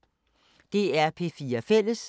DR P4 Fælles